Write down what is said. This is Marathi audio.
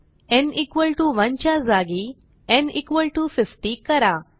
न् 1 च्या जागी न् 50 करा